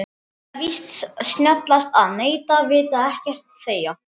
Það er víst snjallast að neita, vita ekkert, þegja.